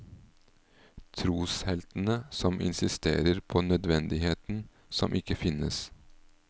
Trosheltene som insisterer på nødvendigheten som ikke finnes.